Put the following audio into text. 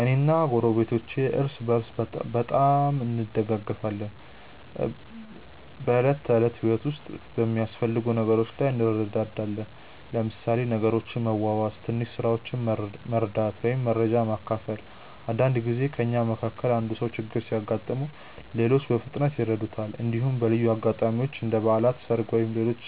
እኔ እና ጎረቤቶቼ እርስ በርስ በጣም እንደጋገፋለን። በዕለት ተዕለት ህይወት ውስጥ በሚያስፈልጉ ነገሮች ላይ እንረዳዳለን፣ ለምሳሌ ነገሮችን በመዋዋስ፣ ትንሽ ስራዎችን መርዳት ወይም መረጃ መካፈል። አንዳንድ ጊዜ ከእኛ መካከል አንዱ ሰው ችግር ሲያጋጥመው ሌሎች በፍጥነት ይረዱታል። እንዲሁም በልዩ አጋጣሚዎች እንደ በዓላት፣ ሰርግ ወይም ሌሎች